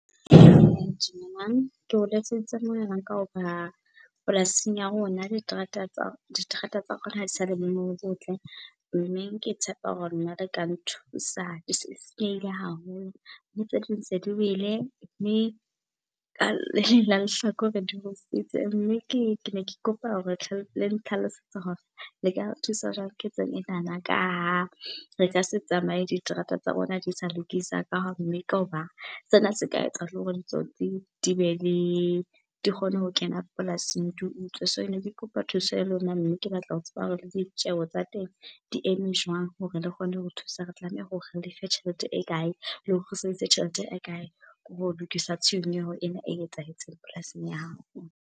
Dumelang, ke o letseditse mohala ka hoba polasing ya rona diterata diterata tsa rona ha di sa le boemong bo botle. Mme ke tshepa hore le ka nthusa, ke haholo. Mme tse ding tse di wele, le ka le leng la lehlakore di rusitse mme ke ne ke kopa hore le nhlalosetse hore le ka re thusa jwang ketsong enana. Ka ha re ka se tsamaye diterata tsa rona di sa lokisa ka . Sena se ka etsa le hore ditsotsi di be le, di kgone ho kena polasing di utswe. So ne ke kopa thuso ya lona mme ke batla ho tseba hore le ditjeho tsa teng di eme jwang hore le kgone ho thusa, re tlameha hore re lefe tjhelete e kae, le sebedise tjhelete e kae ho lokisa tshenyeho ena e etsahetseng polasing ya hao.